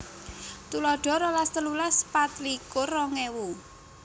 Tuladha rolas telulas patlikur rongèwu